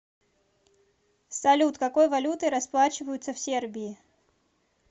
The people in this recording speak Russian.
салют какой валютой расплачиваются в сербии